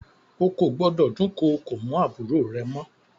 Ó kò gbọ́dọ̀ dúnkokò mọ́ àbúrò rẹ mọ.